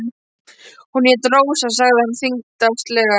Hún hét Rósa, sagði hann þyngslalega.